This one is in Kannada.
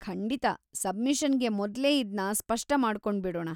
ಖಂಡಿತಾ, ಸಬ್ಮಿಷನ್‌ಗೆ ಮೊದ್ಲೇ ಇದ್ನ ಸ್ಪಷ್ಟ ಮಾಡ್ಕೊಂಡ್ಬಿಡೋಣ.